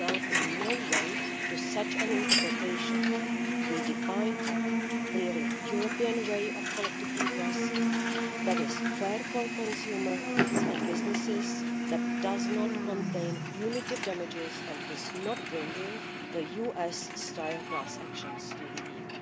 in no way lends itself to such an interpretation. We define a clearly European way of collective redress that is fair for consumers and businesses, that does not contain punitive damages, and is not bringing US-style class actions to the